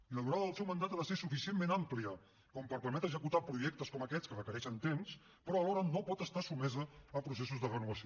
i la durada del seu mandat ha de ser suficientment àmplia com per permetre executar projectes com aquests que requereixen temps però alhora no pot estar sotmesa a processos de renovació